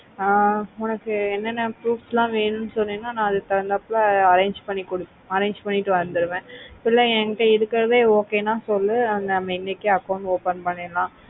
ஆஹ் உனக்கு என்னனா proof ல வேணும்னு சொன்னேனா நா அடுக்கு தன்குந்தப்புல arrange பண்ணி arrange பண்ணிட்டு வந்துருவேன் இல்லே என்கிட்டே இருக்குறத okay நா சொல்லு நம்ம இன்னிக்கே account open பண்ணிரலாம்